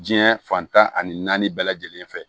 Diɲɛ fantan ani naani bɛɛ lajɛlen fɛ